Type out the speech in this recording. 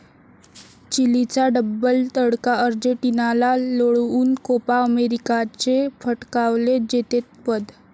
चिलीचा double 'तडका', अर्जेंटिनाला लोळवून 'कोपा अमेरिका'चे पटकावले जेतेपद